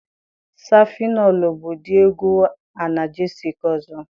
Safịnọlụ bụ ụdị ọgwụ anagesịc ọzọ.